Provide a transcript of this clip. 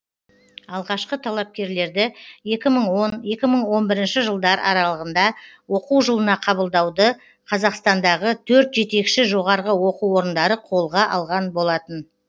алғашқы талапкерлерді екі мың он екі мың он бірінші жылдар аралығында оқу жылына қабылдауды қазақстандағы төрт жетекші жоғарғы оқу орындары қолға алған болатын